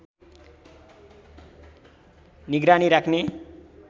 निगरानी राख्ने